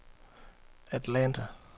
Atlanta